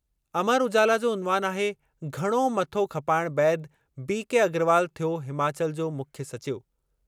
अमर उजाला जो उन्वान आहे, घणो मथो खपाइणु बैदि बी के अग्रवाल थियो हिमाचल जो मुख्य सचिव।